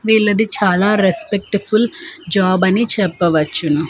వీళ్ళది చాలా respectful job అని చెప్పవచ్చును.